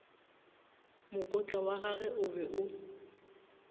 mokotla wagagwe o be o